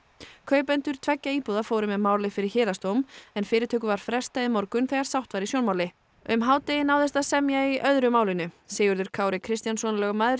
kaupendur tveggja íbúða fóru með málið fyrir héraðsdóm en fyrirtöku var frestað í morgun þegar sátt var í sjónmáli um hádegi náðist að semja í öðru málinu Sigurður Kári Kristjánsson lögmaður